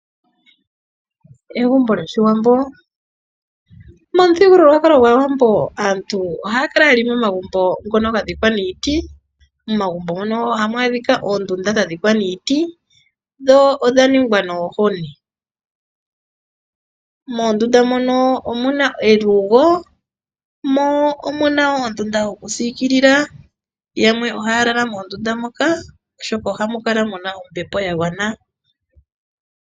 Egumbo lyOshiwambo . Momuthigululwakalo gwAawambo aantu ohaa kala yena omagumbo ngoka gadhikwa miiti. Momagumbo mono ohamu adhika oondunda dhadhikwa niiti sho odha kolongwa nomaloya. Momagumbo muno omuna elugo mo omuna oondunda yokupungula. Yamwe ohaa lala moondunda moka oshoka ohamu kala muna ombepo yagwana.